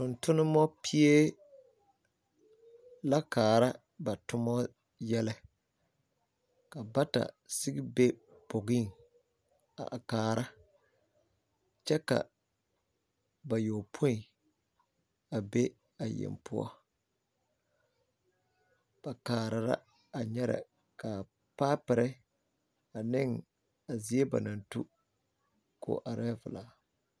Tontonnoba pie la kaara ba toma yɛlɛ .Bata sigi be la bogi pʋɔ kyɛ ka bayɔpoen be a yeng pʋɔ. Ba kaara nyɛrɛ la ka paapore ane a zie ba naŋ tu arɛɛ velaa .